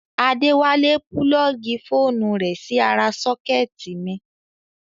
Adéwálé púlọ́ọ̀gì fóònù rẹ̀ sí ara sọ́kẹ́tì mi